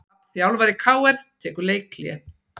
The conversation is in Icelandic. Hrafn þjálfari KR tekur leikhlé